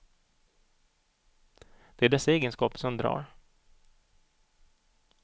Det är dessa egenskaper som drar.